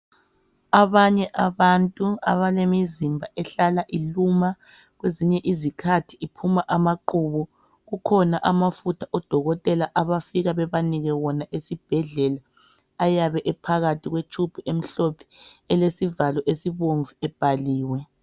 Abanye abantu abale mizimba ehlala iluma. Kwezinye izikhathi iphuma amaqhubu. Kukhona amafutha udokotela abafika bebanike wona esibhedlela. Ayabe ephakathi kwetshubhu emhlophe, elesivalo esibomvu ebhaliwe.